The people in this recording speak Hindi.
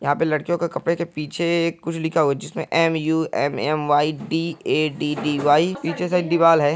यहाँ पर लड़कियों के कपड़े के पीछे कुछ लिखा हुआ है जिसमें एमयूएमएमवाईडीऐडीडीवाई पीछे साइड दीवाल है।